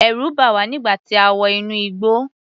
Ẹ̀rù bà wá nígbà tí a wọ inú igbó.